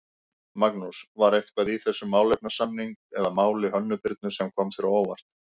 Magnús: var eitthvað í þessum málefnasamning eða máli Hönnu Birnu sem kom þér á óvart?